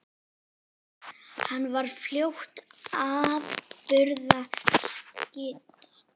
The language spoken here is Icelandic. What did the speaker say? Hann varð fljótt afburða skytta.